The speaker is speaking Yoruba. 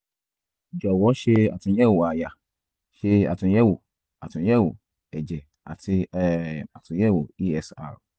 jọ̀wọ́ ṣe àtúnyẹ̀wò àyà ṣe àtúnyẹ̀wò àtúnyẹ̀wò ẹ̀jẹ̀ àti um àtúnyẹ̀wò esr